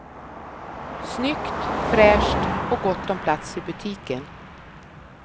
Snyggt, fräscht och gott om plats i butiken.